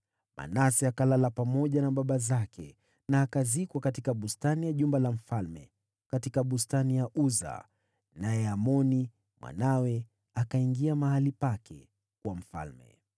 Manase akalala pamoja na baba zake na akazikwa katika bustani ya jumba lake la kifalme, katika bustani ya Uza. Naye Amoni mwanawe akawa mfalme baada yake.